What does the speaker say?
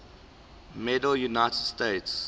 medal united states